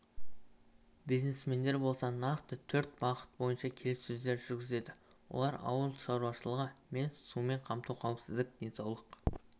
бизнесмендер болса нақты төрт бағыт бойынша келіссөздер жүргізеді олар ауыл шаруашылығы мен сумен қамту қауіпсіздік денсаулық